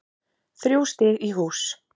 Þrjú stig í hús